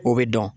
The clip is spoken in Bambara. O bɛ dɔn